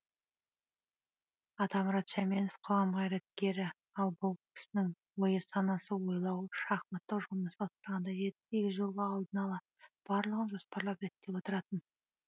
атамұрат шаменов қоғам қайраткері ал бұл кісінің ойы санасы ойлауы шахматтық жолмен салыстырғанда жеті сегіз жолға алдын ала барлығын жоспарлап реттеп отыратын